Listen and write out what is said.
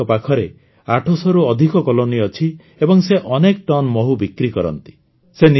ଆଜି ତାଙ୍କ ପାଖରେ ୮୦୦ରୁ ଅଧିକ କଲୋନୀ ଅଛି ଏବଂ ସେ ଅନେକ ଟନ୍ ମହୁ ବିକ୍ରି କରନ୍ତି